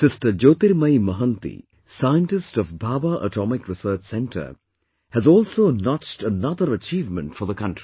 Sister Jyotirmayi Mohanty, Scientist of Bhabha Atomic Research Center has also notched another achievement for the country